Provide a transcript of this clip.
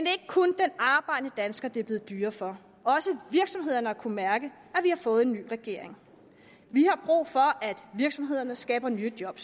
er ikke kun den arbejdende dansker det er blevet dyrere for også virksomhederne har kunnet mærke at vi har fået en ny regering vi har brug for at virksomhederne skaber nye job